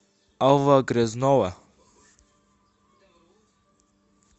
алла грязнова